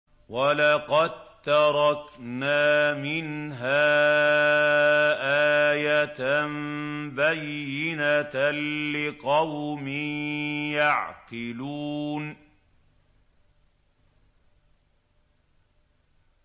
وَلَقَد تَّرَكْنَا مِنْهَا آيَةً بَيِّنَةً لِّقَوْمٍ يَعْقِلُونَ